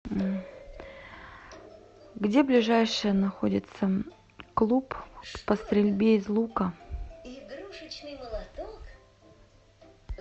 где ближайший находится клуб по стрельбе из лука